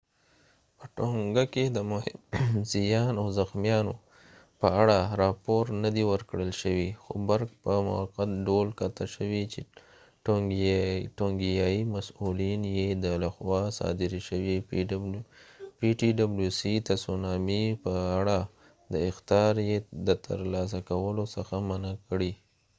په tonga کې د مهم زیان او زخمیانو په اړه راپور ندی ورکړل شوی خو برق په مؤقت ډول قطع شوي چې ټونګیایي مسؤلین یې د تسونامي په اړه د ptwc لخوا صادرې شوې اخطاریې د ترلاسه کولو څخه منع کړي